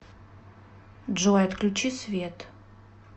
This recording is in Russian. джой отключи свет